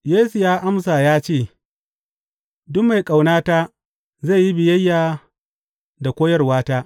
Yesu ya amsa ya ce, Duk mai ƙaunata, zai yi biyayya da koyarwata.